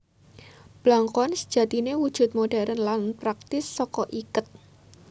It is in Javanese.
Blangkon sejatiné wujud modhèrn lan praktis saka iket